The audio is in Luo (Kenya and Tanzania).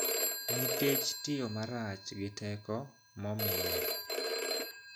Nikech tiyo marach gi teko momiye;